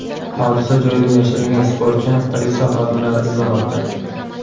Hodisa joyidan yashiringan sportchini politsiya xodimlari izlamoqda.